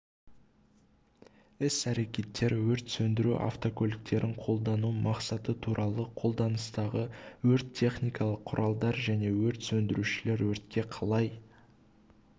іс-әрекеттер өрт сөндіру автокөліктерін пайдалану мақсаты туралы қолданыстағы өрт-техникалық құралдар және өрт сөндірушілер өртке қалай